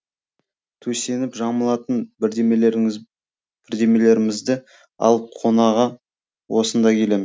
төсеніп жамылатын бірдеңелерімізді алып қонаға осында келем